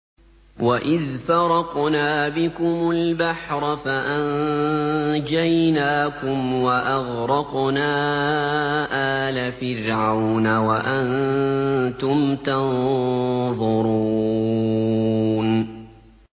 وَإِذْ فَرَقْنَا بِكُمُ الْبَحْرَ فَأَنجَيْنَاكُمْ وَأَغْرَقْنَا آلَ فِرْعَوْنَ وَأَنتُمْ تَنظُرُونَ